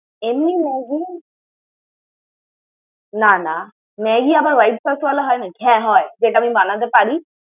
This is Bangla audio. এমনি Maggi । না না, Maggi আবার white sauce ওয়ালা হয় নাকি? হ্যাঁ, হয় যেটা আমি বানাতে পারি।